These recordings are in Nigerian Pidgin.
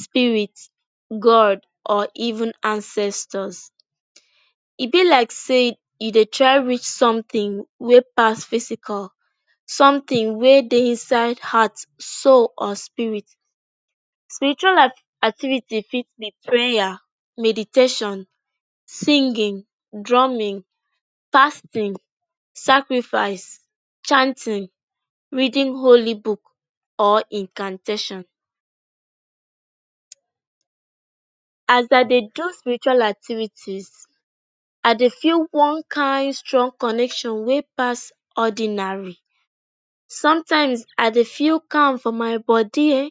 spirit god or even ancestors. E be like say you dey try reach somtin wey pass physical, somtin wey dey inside heart so on spirit. Spiritual activity fit be prayer, meditation, singing, drumming, fasting, sacrifice, chanting, reading holy book or incantation. As I dey just spiritual activities I dey feel one kain strong connection wey pass ordinary. Somtime I dey feel calm for my body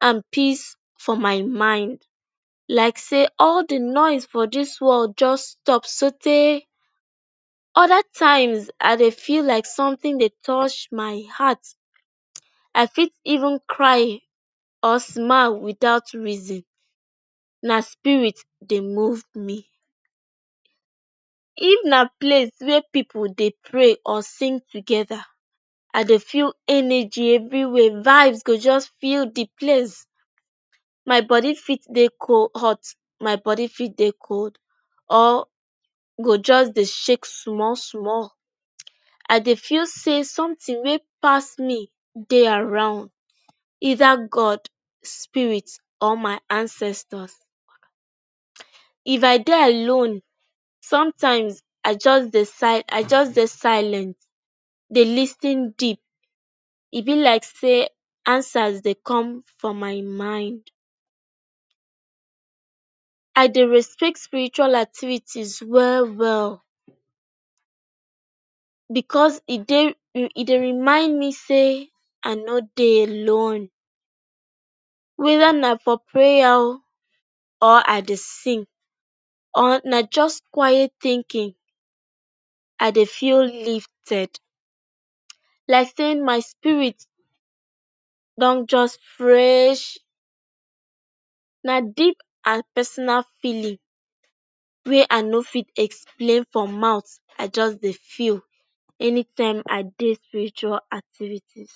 and peace for my mind like say all di noise for dis world just stop sootey. Oda times I dey feel like somtin dey touch my heart, I fit even cry or smile witout reason. Na spirit dey move me. If na place wey pipu dey pray or sing togeda, I dey feel energy evri wia. Vibes go just full di place. My body fit dey hot, my body fit dey cold or go just dey shake small small. I dey feel say somtin wey pass me dey around, eida god spirit or my ancestors. If I dey alone, somtime I just decide I just dey silent dey lis ten deep. E be like say answers dey come for my mind. I dey respect spiritual activities well well bicos e dey remind me say I no dey alone. Weda na for prayer o or I dey sing or na just quiet thinking, I dey feel lifted like sey my spirit don just fresh. Na deep and personal feeling wey I no fit explain for mouth. I just dey feel anytime I dey spiritual activities.